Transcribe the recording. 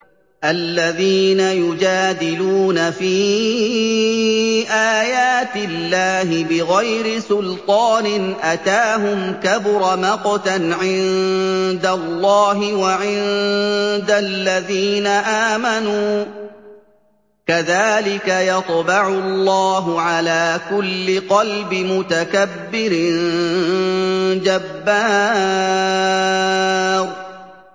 الَّذِينَ يُجَادِلُونَ فِي آيَاتِ اللَّهِ بِغَيْرِ سُلْطَانٍ أَتَاهُمْ ۖ كَبُرَ مَقْتًا عِندَ اللَّهِ وَعِندَ الَّذِينَ آمَنُوا ۚ كَذَٰلِكَ يَطْبَعُ اللَّهُ عَلَىٰ كُلِّ قَلْبِ مُتَكَبِّرٍ جَبَّارٍ